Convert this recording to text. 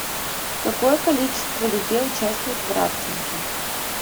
какое количество людей участвует в рафтинге